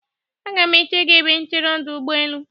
Aga m eche gi ebe nchere ọdụ ụgbọelu.